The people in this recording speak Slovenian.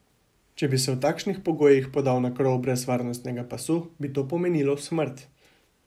Če bi se v takšnih pogojih podal na krov brez varnostnega pasu, bi to pomenilo smrt.